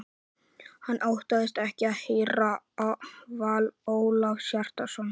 Hann óttaðist ekki að heyra val Ólafs Hjaltasonar.